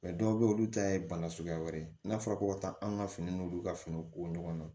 dɔw bɛ yen olu ta ye bana suguya wɛrɛ ye n'a fɔra ko ka taa an ka fini n'olu ka fini ko ɲɔgɔn na